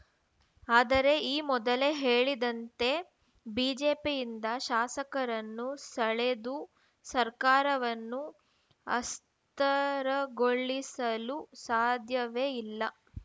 ಆದರೆ ಈ ಮೊದಲೇ ಹೇಳಿದಂತೆ ಬಿಜೆಪಿಯಿಂದ ಶಾಸಕರನ್ನು ಸೆಳೆದು ಸರ್ಕಾರವನ್ನು ಅಸ್ಥರಗೊಳಿಸಲು ಸಾಧ್ಯವೇ ಇಲ್ಲ